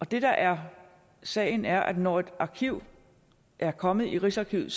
det der er sagen er at når et arkiv er kommet i rigsarkivet